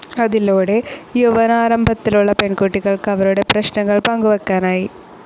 അതിലൂടെ യൗവനാരംഭത്തിലുള്ള പെൺകുട്ടികൾക്ക് അവരുടെ പ്രശ്നങ്ങൾ പങ്കുവെക്കാനായി.